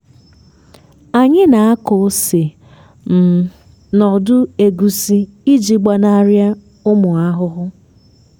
anyị nako ose um nọdụ egusi iji gbanari ụmụ ahụhụ